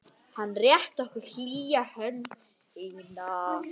Hann rétti okkur hlýja hönd sína.